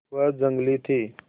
वह जंगली थी